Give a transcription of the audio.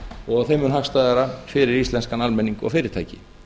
og þeim mun hagstæðara fyrir íslenskan almenning og fyrirtæki